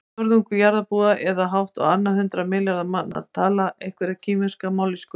Fjórðungur jarðarbúa eða hátt á annan milljarð manna tala einhverja kínverska mállýsku.